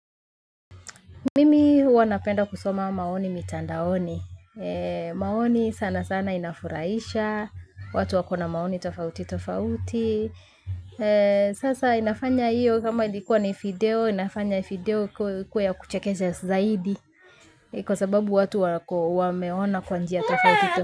Mimi huwa napenda kusoma maoni mitandaoni. Maoni sana sana inafurahisha. Watu wako na maoni tofauti tofauti. Sasa inafanya hiyo kama ilikuwa ni video. Inafanya video kuwa ya kuchekesha zaidi. Kwa sababu watu wameona kwa njia tofauti.